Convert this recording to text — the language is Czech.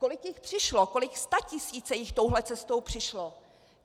Kolik jich přišlo, kolik statisíců jich touhle cestou přišlo?